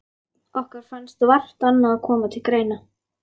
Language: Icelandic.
Okkur fannst vart annað koma til greina.